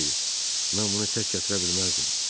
Olmasaydı, mən bunu tək gətirə bilməzdim.